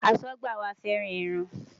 Aṣọ́gbà wa fẹ́ràn ẹran.